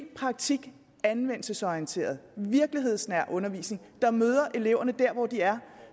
praktik og anvendelsesorienteret virkelighedsnær undervisning der møder eleverne der hvor de er